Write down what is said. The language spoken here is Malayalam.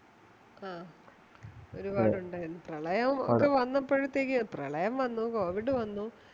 ഒരുപാടുണ്ടായിരുന്നു പ്രളയം ഒക്കെ വന്നപ്പോഴത്തേതേ, പ്രളയം വന്നു, covid വന്നു